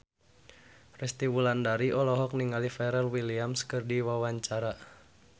Resty Wulandari olohok ningali Pharrell Williams keur diwawancara